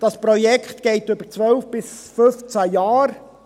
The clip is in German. Das Projekt dauert 12 bis 15 Jahre.